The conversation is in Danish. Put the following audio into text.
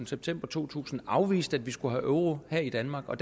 september to tusind og afviste at vi skulle have euro her i danmark og